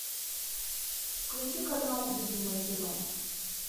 включи канал любимое кино